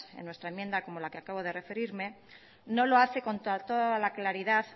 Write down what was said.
en nuestra enmienda como la que acabo de referime no lo hace con toda la claridad